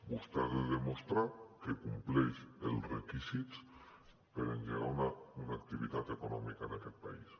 vostè ha de demostrar que compleix els requisits per engegar una activitat econòmica en aquest país